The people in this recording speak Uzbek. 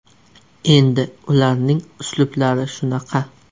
Endi ularning uslublari shunaqa.